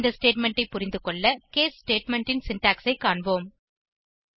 இந்த ஸ்டேட்மெண்ட் ஐ புரிந்துகொள்ள கேஸ் ஸ்டேட்மெண்ட் ன் சின்டாக்ஸ் ஐ காண்போம்